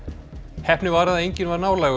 heppni var að enginn var nálægur